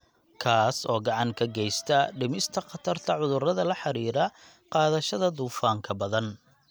kaas oo gacan ka geysta dhimista khatarta cudurrada la xidhiidha qaadashada dufanka badan,